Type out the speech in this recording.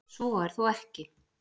Svo er þó ekki.